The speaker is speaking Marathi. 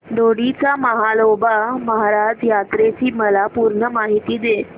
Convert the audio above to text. दोडी च्या म्हाळोबा महाराज यात्रेची मला पूर्ण माहिती दे